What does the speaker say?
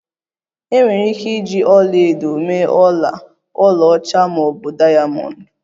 Enwere ike iji ọla edo mee ọla, ọlaọcha ma ọ bụ diamond